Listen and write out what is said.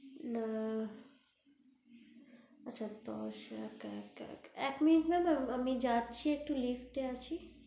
না আচ্ছা দশ এক এক এক মিনিট madam আমি যাচ্ছি একটু lift আছি